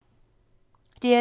DR2